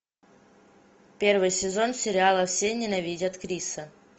первый сезон сериала все ненавидят криса